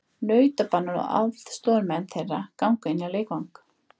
Nautabanar og aðstoðarmenn þeirra ganga inn á leikvang.